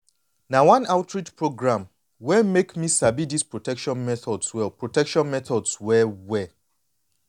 na one local outreach program wey make me sabi dis protection methods well protection methods well well